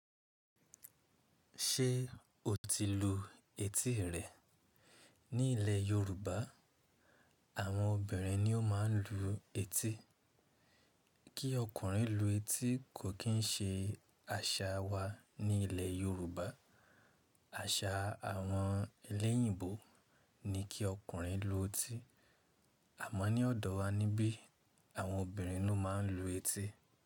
Ṣé o ti lu etí rẹ? Ní ilẹ̀ Yorùbá, àwọn obìnrin ni ó máa ń lu etí. Kí ọkùnrin lu etí kò kín ń ṣe àṣà wa ní ilẹ̀ Yorùbá. Àṣà àwọn eléyììbò ni kí ọkùnrin lu etí. Àmọ́ ní ọ̀dọ̀ wa ni bí àwọn obìnrin ló máa ń lu etí.